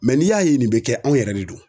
n'i y'a ye nin be kɛ anw yɛrɛ de don.